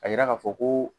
A yira ka fɔ ko